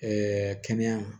kɛnɛya